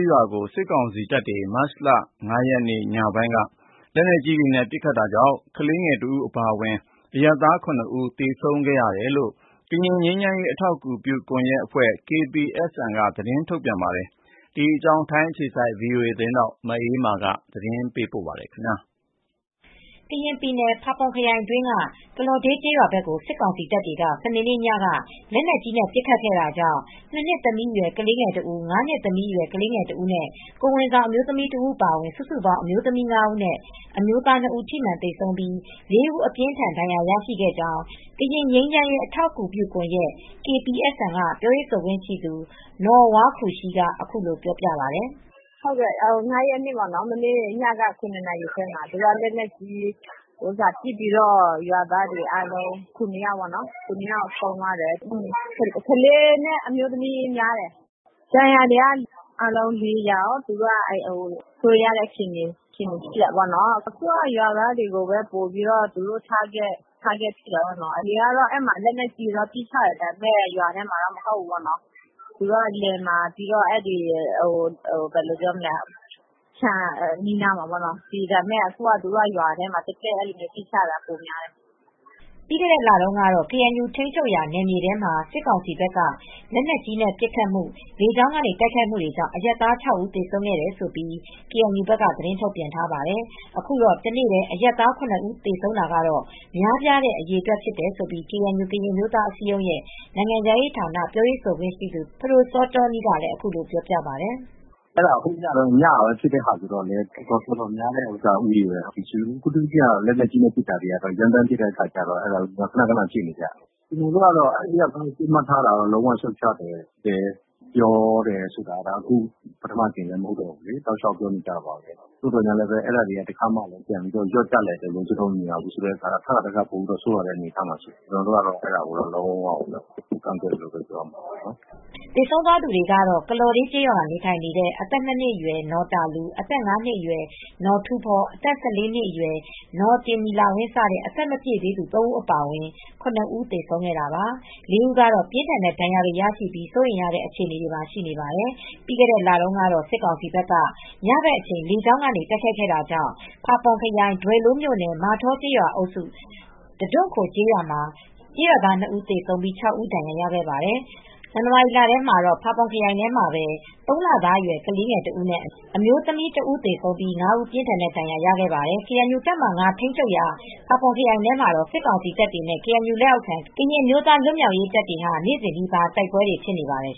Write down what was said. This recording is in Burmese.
းရွာကို စစ်ကောင်စီတပ်တွေက မတ်လ ၅ ရက်နေ့ညက လက်နက်ကြီးနဲ့ ပစ်ခတ်တာကြောင့် ကလေးငယ်တဦး အပါအဝင် အရပ်သား ၇ ဦး သေဆုံးခဲ့တယ်လို့ ကရင်ငြိမ်းချမ်းရေး အထောက်အကူပြုကွန်ရက် (KPSN) က သတင်းထုတ်ပြန်ပါတယ်။ အပြည့်အစုံကို ဗွီအိုအေသတင်းထောက် မအေးအေးမာ သတင်းပေးပို့ထားပါတယ်။ ကရင်ပြည်နယ် ဖာပွန်ခရိုင်အတွင်းက ကလော်ဒေးကျေးရွာဘက်ကို စစ်ကောင်စီတပ်တွေက စနေနေ့ညက လက်နက်ကြီး ပစ်ခတ်ခဲ့တာကြောင့် ၂ နှစ်သမီးအရွယ် ကလေးငယ်တဦး၊ ၅ နှစ်သမီးအရွယ် ကလေးငယ်တဦးနဲ့ ကိုယ်ဝန်ဆောင် အမျိုးသမီးတဦး အပါအဝင် စုစုပေါင်း အမျိုးသမီး ၅ ဦးနဲ့ အမျိုးသား ၂ ဦး ထိမှန်သေဆုံးခဲ့ပြီး ၄ ဦး အပြင်းအထန် ထိခိုက်ဒဏ်ရာ ရရှိခဲ့ကြောင်း ကရင်ငြိမ်းချမ်းရေး အထောက်အကူပြုကွန်ရက် (KPSN) က ပြောရေးဆိုခွင့်ရှိသူ နော်ဝါးခူရှီးက ပြောပါတယ်။ “၅ ရက်နေ့ မနေ့ညက ၇ နာရီခွဲလောက်မှာ လက်နက်ကြီးနဲ့ပစ်လို့ ရွာသား ၇ ယောက် ဆုံးသွားတယ်။ ကလေးတွေနဲ့ အမျိုးသမီးတွေများတယ်။ ဒဏ်ရာရတာက အားလုံးက ၄ ယောက်ပါ။ စိုးရိမ်ရတဲ့ အခြေအနေရှိတယ်။ အခုကတော့ ရွာသားတွေကို ပစ်မှတ်ထားလာတယ်။ အရင်ကတော့ လက်နက်ကြီးနဲ့ပစ်တာ ရွာထဲကိုမဟုတ်ဘူး။ လယ်တွေ ခြံတွေနားပစ်တာ။ အခုကတော့ ရွာထဲကို သက်သက်ပစ်ချတာ ပိုများလာတယ်။” ပြီးခဲ့တဲ့လတုန်းကတော့ ကေအန်ယူ ထိန်းချုပ်ရာ နယ်မြေထဲမှာ စစ်ကောင်စီဘက်က လက်နက်ကြီးနဲ့ ပစ်ခတ်မှု၊ လေကြောင်းကနေ တိုက်ခိုက်မှုကြောင့် အရပ်သား ၆ ဦး သေဆုံးခဲ့တယ်လို့ ကေအန်ယူက သတင်းထုတ်ပြန်ပါတယ်။ အခုတော့ တနေ့တည်း အရပ်သား ၇ ဦး သေဆုံးတာကတော့ များပြားတဲ့ အရေအတွက် ဖြစ်တယ်လို့ ကေအန်ယူ ကရင်အမျိုးသားအစည်းအရုံးရဲ့ နိုင်ငံခြားရေးဌာန ပြောရေးဆိုခွင့်ရှိသူ ဖဒိုစောတောနီးကလည်း အခုလိုပြောပါတယ်။ “ညက ဖြစ်တာကတော့ တော်တော်များတဲ့ဦးရေပဲ။ အထူးသဖြင့် သူတို့ လက်နက်ကြီးနဲ့ ရမ်းသမ်းပစ်နေကြတာတော့ ရွာသားတွေ ခနခန ထိနေကြတယ်။ ကျနော်တို့က အရပ်သားတွေကို ပစ်မှတ်ထားတာကိုတော့ ရှုတ်ချတယ်။ အဲဒါကိုလည်း ခနခန ပြောပြီးသားပါ။ သို့သော်လည်း အဲဒါတွေ လျော့ကျတာမရှိဘူး။ ထပ်ခါထပ်ခါ ပိုဆိုးလာတဲ့ အနေအထားမှာ ရှိတယ်။ ကျနော်တို့က အဲဒါကို ကန့်ကွက်ပါတယ်။” သေဆုံးသွားသူတွေကတော့ ကလော်ဒေးကျေးရွာမှာ နေထိုင်နေတဲ့ အသက် ၂ နှစ်အရွယ် နော်တာလူ၊ အသက် ၅ နှစ်အရွယ် နော်ထူးဖော၊ အသက် ၁၄ နှစ်အရွယ် နော်တင်နီလာဝင်း စတဲ့ အသက်မပြည့်သေးသူ ၃ ဦး အပါအဝင် ၇ ဦး သေဆုံးခဲ့တာပါ။ ၄ ဦးကတော့ ပြင်းထန်တဲ့ဒဏ်ရာတွေ ရရှိပြီး စိုးရိမ်ရတဲ့ အခြေအနေ ရှိနေပါတယ်။ ပြီးခဲ့တဲ့လတုန်းကတော့ စစ်ကောင်စီဘက်က ညဘက်အချိန် လေကြောင်းကနေ တိုက်ခိုက်ခဲ့တာကြောင့် ဖာပွန်ခရိုင် ဒွယ်လိုးမြို့နယ် မာထောကျေးရွာအုပ်စု တဒွံခို့ကျေးရွာ ရွာသား ၂ ဦး သေဆုံးပြီး ၆ ဦး ဒဏ်ရာရခဲ့ပါတယ်။ ဇန်နဝါရီလထဲမှာတော့ ၂ ဦးသေဆုံးပြီး ၅ ဦး ပြင်းထန်တဲ့ဒဏ်ရာ ရခဲ့ပါတယ်။ ကေအန်ယူ တပ်မဟာ ၅ ထိန်းချုပ်ရာ ဖာပွန်ခရိုင်ထဲမှာတော့ စစ်ကောင်စီတပ်တွေနဲ့ ကေအန်ယူလက်အောက်ခံ ကရင်အမျိုးသား လွတ်မြောက်ရေးတပ်တွေဟာ နေ့စဉ်နီးပါး တိုက်ပွဲတွေ ဖြစ်နေပါတယ်